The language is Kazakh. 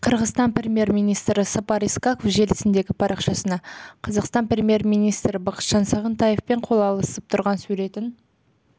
қырғызстан премьер министрі сапар исақов желісіндегі парақшасына қазақстан премьер министрі бақытжан сағынтаевпен қол алысып тұрған суретін